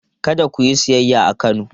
Kada ku yi siyayya a Kano!